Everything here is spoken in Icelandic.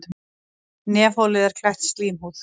Nefholið er klætt slímhúð.